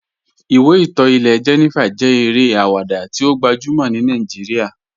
Ìwé ìtọ́ ilẹ̀ Jènífà jẹ́ èrè awada tí ó gbajúmọ̀ ní Nàìjíríà